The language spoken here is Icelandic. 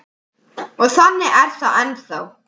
Og þannig er það ennþá.